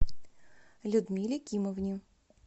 людмиле кимовне